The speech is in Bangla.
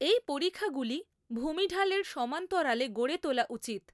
এই পরিখাগুলি ভূমিঢালের সমান্তরালে গড়ে তোলা উচিত।